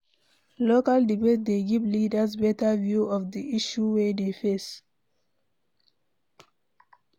Local debate dey give leaders better view of di issue wey dey face